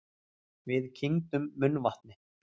Við kyngdum munnvatni.